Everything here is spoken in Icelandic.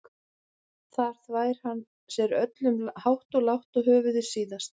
Þar þvær hann sér öllum hátt og lágt og höfuðið síðast.